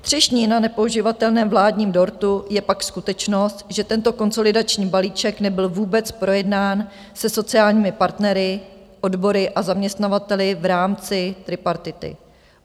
Třešní na nepoživatelném vládním dortu je pak skutečnost, že tento konsolidační balíček nebyl vůbec projednán se sociálními partnery, odbory a zaměstnavateli v rámci tripartity.